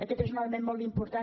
aquest és un element molt important